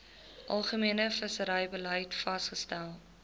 algemene visserybeleid vasgestel